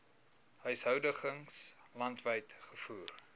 huishoudings landwyd gevoer